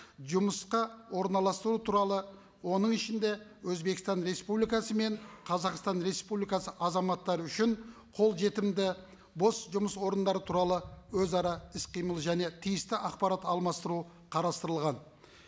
жұмысқа орналастыру туралы оның ішінде өзбекстан республикасы мен қазақстан республикасы азаматтары үшін қолжетімді бос жұмыс орындары туралы өзара іс қимыл және тиісті ақпарат алмастыру қарастырылған